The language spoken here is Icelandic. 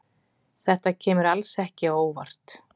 Þetta kemur alls ekki á óvart.